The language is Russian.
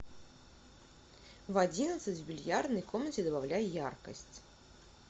в одиннадцать в бильярдной комнате добавляй яркость